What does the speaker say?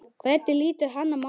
Hvernig lítur hann á málið?